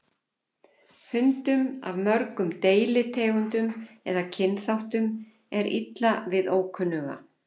hundum af mörgum deilitegundum eða kynþáttum er illa við ókunnuga